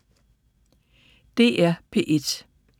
DR P1